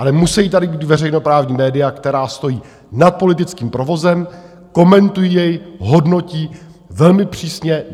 Ale musejí tady být veřejnoprávní média, která stojí nad politickým provozem, komentují jej, hodnotí velmi přísně.